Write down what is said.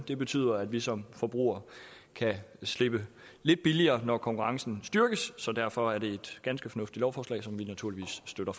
det betyder at vi som forbrugere kan slippe lidt billigere når konkurrencen styrkes så derfor er det et ganske fornuftigt lovforslag som vi naturligvis støtter